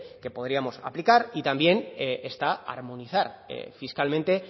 que podríamos aplicar y también está armonizar fiscalmente